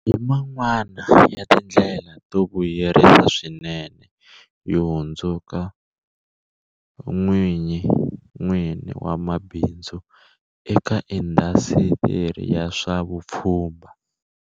hi man'wana ya tindlela to vuyerisa swinene yo hundzuka n'wini wa bi ndzu eka indhasitiri ya swa vupfhumba.